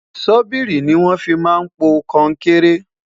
sobiìri ní wón fí má n pò konkere